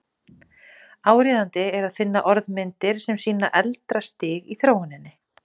Áríðandi er að finna orðmyndir sem sýna eldra stig í þróuninni.